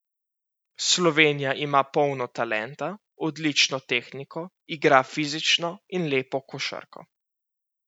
Slovenija ima polno talenta, odlično tehniko, igra fizično in lepo košarko.